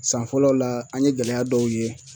San fɔlɔ la, an ye gɛlɛya dɔw ye.